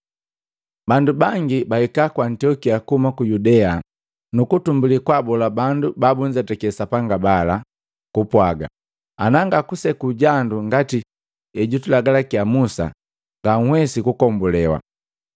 Bandu bangi bahika ku Antiokia kuhuma ku Yudea nuku tumbulili kwaabola bandu babunzetaki Sapanga bala kupwaga, “Ana ngakuseku jandu ngati hejutulagalakia Musa, nganhwesi kukombulewa.”